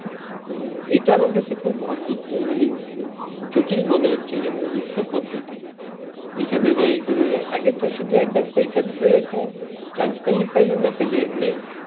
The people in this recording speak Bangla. এটা আমার কাছে খুব অদ্ভুত মানে উম জটিল মনে হচ্ছে যেন গুচ্ছ পদ্ধতি এখানে যাই ঐখানে যাই আগেতো শুধু একবার পরীক্ষা দিতে যাইতো chance পাইলে পাইলো না পাইলে নাই